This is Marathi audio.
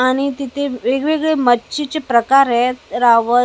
आणि तिथे वेगवेगळ्या मच्छीचे प्रकार येत रावस --